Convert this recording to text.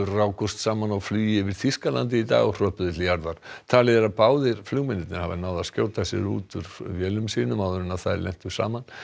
rákust saman á flugi yfir Þýskalandi í dag og hröpuðu til jarðar talið er að báðir flugmennirnir hafi náð að skjóta sér úr vélum sínum áður en þær lentu saman